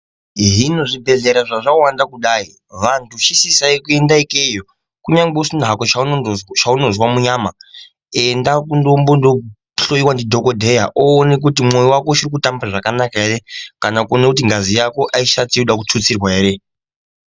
Hino zvibhedhlera zvazvawanda kudai vantu chisisayi kuenda ikweyo kunyangwe usina hako chainozwa munyama enda kundombohloiwa ndi dhokoteya oona kuti mwoyo wako uchikutamba zvakanaka ere kana kuona kuti ngazi yako aisati yoda kututsirwa ere.